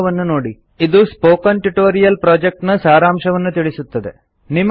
httpspoken tutorialorgWhat is a Spoken Tutorial ಇದು spoken tutorial project ನ ಸಾರಾಂಶವನ್ನು ತಿಳಿಸುತ್ತದೆ